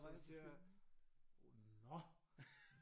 Så jeg siger nå!